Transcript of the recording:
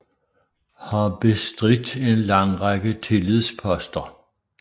Har bestridt en lang række tillidsposter